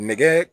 Nɛgɛ